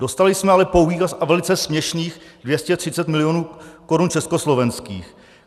Dostali jsme ale pouhých a velice směšných 230 milionů korun československých.